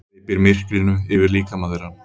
Hleypir myrkrinu yfir líkama þeirra.